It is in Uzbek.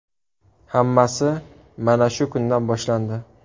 Hammasi mana shu kundan boshlandi.